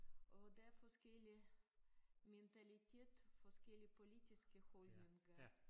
Og der forskellige mentalitet forskellige politiske holdninger